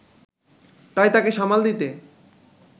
তাই তাকে সামাল দিতে